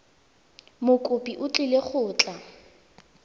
mokopi o tlile go tla